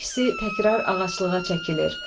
Hər ikisi təkrar ağaclığa çəkilir.